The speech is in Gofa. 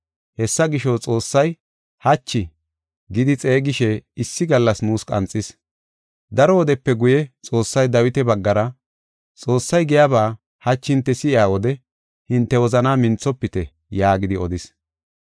Hessa gisho, Xoossay, “Hachi” gidi xeegishe issi gallas nuus qanxis. Daro wodepe guye Xoossay Dawita baggara, “Xoossay giyaba hachi hinte si7iya wode, hinte wozanaa minthofite” yaagidi odis.